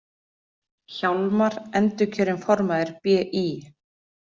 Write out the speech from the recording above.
Hjálmar endurkjörinn formaður BÍ